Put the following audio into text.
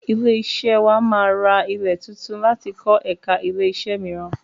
Ilé-iṣẹ́ wà máa ra ilẹ̀ tuntun láti kọ ẹ̀ka ilẹ́-iṣẹ́ mìíràn.